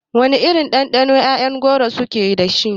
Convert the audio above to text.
Wana irin ɗanɗano ƴaƴan goro su ke dashi?